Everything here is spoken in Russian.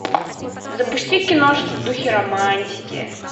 запусти киношку в духе романтики